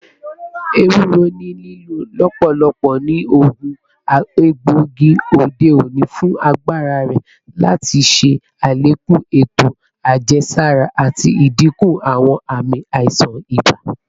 Ewuro ni lilo lọpọlọpọ ni oogun egboigi ode oni fun agbara rẹ lati ṣe alekun eto ajẹsara ati dinku awọn aami aisan iba.